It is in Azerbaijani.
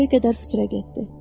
Bir qədər fikrə getdi.